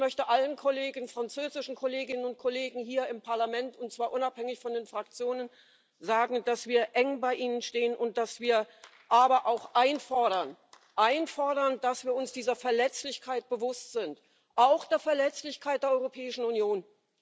Ich möchte allen französischen Kolleginnen und Kollegen hier im Parlament und zwar unabhängig von den Fraktionen sagen, dass wir eng bei ihnen stehen und dass wir aber auch einfordern einfordern, dass wir uns dieser Verletzlichkeit bewusst sind, auch der Verletzlichkeit der Europäischen Union.